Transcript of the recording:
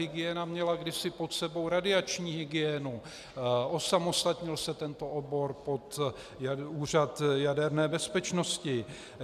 Hygiena měla kdysi pod sebou radiační hygienu, osamostatnil se tento obor pod Úřad jaderné bezpečnosti.